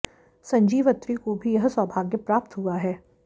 संजीव अत्री को भी यह सौभाग्य प्राप्त हुआ है